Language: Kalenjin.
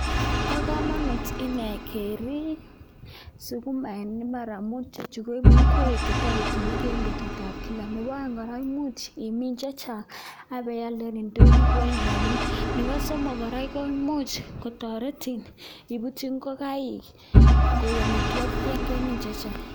Bo kamanut inee keriip sukumek eng imbaar amuun ichechu koeku ingwek che toreti biik eng betutab kila. Nebo aeng kora, imuch imin chechang ak ipialde eng indonyo kokonin rapinik, nebo somok kora, ko imuch kotoretin iputyi ingokaik koek amitwokik yon kemin chechang.